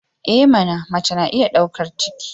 I mana! mace na iya daukar ciki.